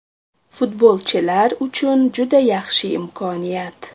Futbolchilar uchun juda yaxshi imkoniyat.